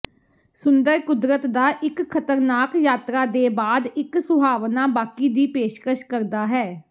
ਸੁੰਦਰ ਕੁਦਰਤ ਦਾ ਇੱਕ ਖਤਰਨਾਕ ਯਾਤਰਾ ਦੇ ਬਾਅਦ ਇੱਕ ਸੁਹਾਵਣਾ ਬਾਕੀ ਦੀ ਪੇਸ਼ਕਸ਼ ਕਰਦਾ ਹੈ